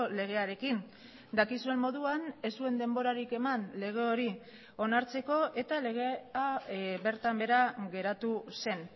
legearekin dakizuen moduan ez zuen denborarik eman lege hori onartzeko eta legea bertan behera geratu zen